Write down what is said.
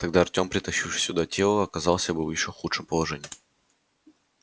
тогда артём притащивший сюда тело оказался бы в ещё худшем положении